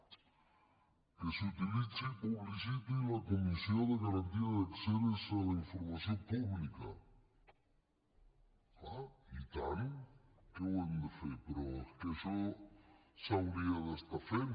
que s’utilitzi i publiciti la comissió de garantia d’accés a la informació pública és clar i tant que ho hem de fer però és que això s’hauria d’estar fent